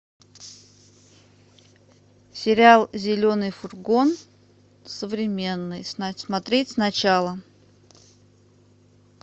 сериал зеленый фургон современный смотреть сначала